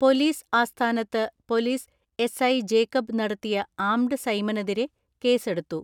Police ആസ്ഥാനത്ത് police SI Jacob നടത്തിയ armed സൈമനെതിരെ കേസെടുത്തു.